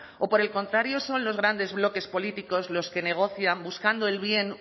o por el contrario son los grandes bloques políticos los que negocian buscando el bien